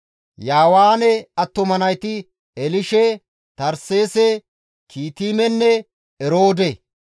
Yaawaane attuma nayti Elishe, Tarseese, Kiitimenne Eroode.